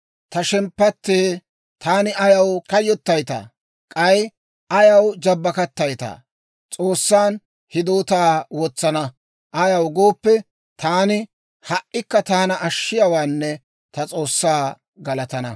Ta shemppattee, taani ayaw kayyottaytaa? K'ay ayaw jabbakattayttaa? S'oossan hidootaa wotsana. Ayaw gooppe, taani ha"ikka taana ashshiyaawaanne ta S'oossaa galatana.